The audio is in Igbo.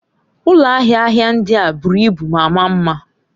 Ụlọ ahịa ahịa ndị a buru ibu ma maa mma.